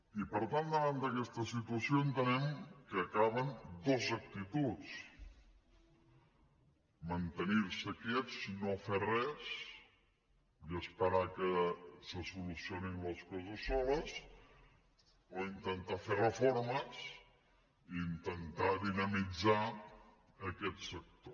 i per tant davant d’aquesta situació entenem que hi caben dues actituds mantenir se quiets no fer res i esperar que se solucionin les coses soles o intentar fer reformes i intentar dinamitzar aquest sector